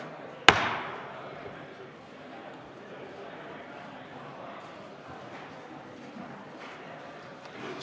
Soove ei ole.